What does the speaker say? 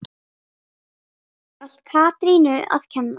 Allt Katrínu að kenna?